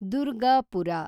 Durgapur